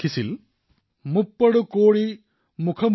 এই ক্ষেত্ৰত ৰংগ সম্প্ৰদায়ৰ এই পদক্ষেপে সমগ্ৰ বিশ্বক পথ প্ৰদৰ্শিত কৰিব